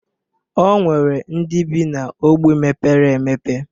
O nwere ndị bị n' ogbe mepere emepe.